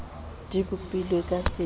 di bopilwe ka tsela e